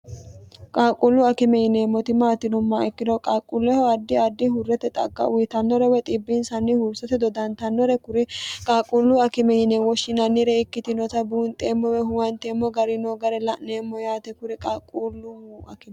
qaaqquullu akime yineemmoti maati yinummoha ikkiro qaaqquulleho addi addi huurrete xagga uyitannore dhibbinsanni huursate dodantannore kuri qaaqquullu akime yine woshshinannire ikkitinota buunxeemmo woy huwanteemmo gari noo gare la'neemmo yaate kuri qaaqquulluno akime